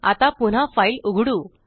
आता पुन्हा फाइल उघडू